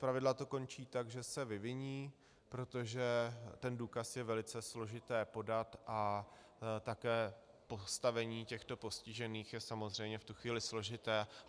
Zpravidla to končí tak, že se vyviní, protože ten důkaz je velice složité podat, a také postavení těchto postižených je samozřejmě v tu chvíli složité.